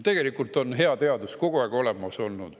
Tegelikult on hea teadus kogu aeg olemas olnud.